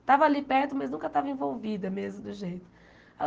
Estava ali perto, mas nunca estava envolvida mesmo do jeito.